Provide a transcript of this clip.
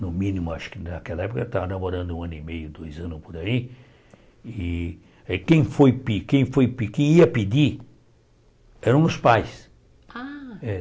no mínimo, acho que naquela época, eu estava namorando um ano e meio, dois anos por aí, eh e quem foi pe quem foi que quem ia pedir eram os pais. Ah É